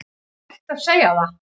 Er rétt að segja það?